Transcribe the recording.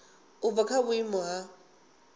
u bva kha vhuimo ha